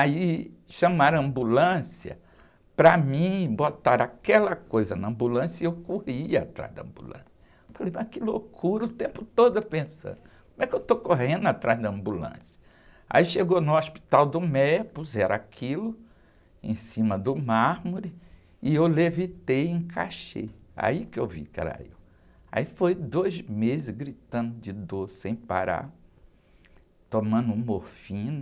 Aí chamaram a ambulância para mim e botaram aquela coisa na ambulância e eu corri atrás da ambulância. Falei, mas que loucura, o tempo todo pensando, como é que eu estou correndo atrás da ambulância? Aí chegou no hospital do, puseram aquilo em cima do mármore e eu levitei e encaixei. Aí que eu vi que era eu, aí foi dois meses gritando de dor sem parar, tomando morfina.